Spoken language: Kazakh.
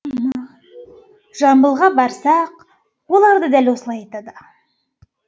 жамбылға барсақ олар да дәл солай айтады